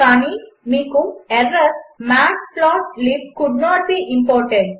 కానిమీకు matplotlib could not be imported